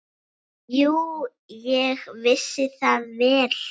Jú, ég vissi það vel.